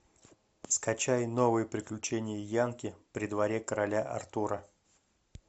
скачай новые приключения янки при дворе короля артура